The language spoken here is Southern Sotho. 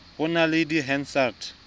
ho na le di hansard